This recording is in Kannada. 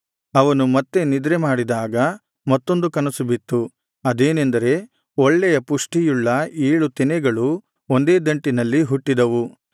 ಅವನು ಮತ್ತೆ ನಿದ್ರೆಮಾಡಿದಾಗ ಮತ್ತೊಂದು ಕನಸು ಬಿತ್ತು ಅದೇನೆಂದರೆ ಒಳ್ಳೆಯ ಪುಷ್ಟಿಯುಳ್ಳ ಏಳು ತೆನೆಗಳು ಒಂದೇ ದಂಟಿನಲ್ಲಿ ಹುಟ್ಟಿದವು